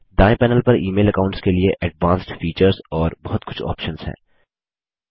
दाएँ पैनल पर email accounts के लिए एडवांस्ड फीचर्स और बहुत कुछ ऑप्सन्स हैं